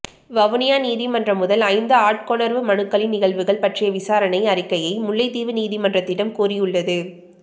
வவுனியா நீதிமன்றம் முதல் ஐந்து ஆட்கொணர்வு மனுக்களின் நிகழ்வுகள் பற்றிய விசாரணை அறிக்கையை முல்லைத்தீவு நீதிமன்றத்திடம் கோரியுள்ளது